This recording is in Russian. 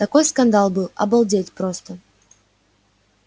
такой скандал был обалдеть просто